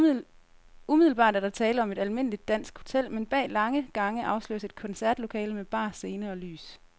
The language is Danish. Umiddelbart er der tale om et almindeligt dansk hotel, men bag lange gange afsløres et koncertlokale med bar, scene og lys.